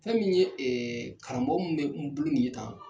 Fɛn min ye karamɔgɔ minnu bɛ n bolo nin ye tan.